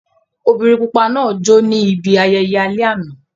Obìnrin pupa náà jó ní ibi ayẹyẹ alẹ́ àná.